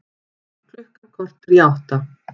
Klukkan korter í átta